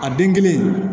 A den kelen